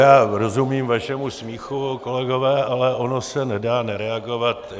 Já rozumím vašemu smíchu, kolegové, ale ono se nedá nereagovat.